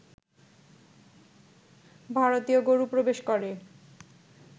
ভারতীয় গরু প্রবেশ করে